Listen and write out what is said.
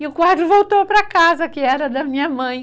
E o quadro voltou para casa, que era da minha mãe.